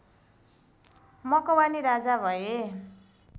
मकवानी राजा भए